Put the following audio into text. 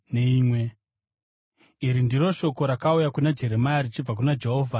Iri ndiro shoko rakauya kuna Jeremia richibva kuna Jehovha: